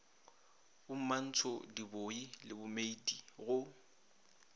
bomantsho dibooi le dimeiti go